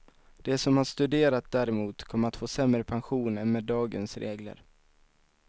De som har studerat däremot kommer att få sämre pension än med dagens regler.